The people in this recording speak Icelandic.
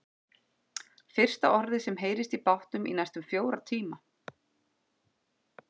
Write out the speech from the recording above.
Fyrsta orðið sem heyrist í bátnum í næstum fjóra tíma.